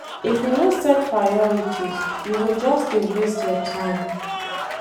If you no set priorities, you go just dey waste your time.